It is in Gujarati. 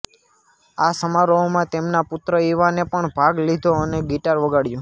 આ સમારોહમાં તેમના પુત્ર ઇવાને પણ ભાગ લીધો અને ગિટાર વગાડ્યું